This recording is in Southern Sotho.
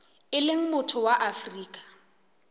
e leng motho wa afrika